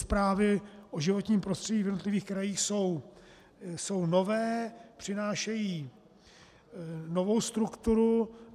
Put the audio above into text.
Zprávy o životním prostředí v jednotlivých krajích jsou nové, přinášejí novou strukturu.